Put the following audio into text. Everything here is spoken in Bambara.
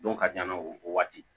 Dɔw ka jan na o waati